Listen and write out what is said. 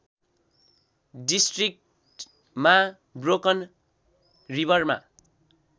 डिस्ट्रिक्टमा ब्रोकन रिवरमा